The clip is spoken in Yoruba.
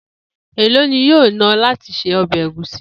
Èló ni yóò ná o̩ láti se o̩bè̩ egusi?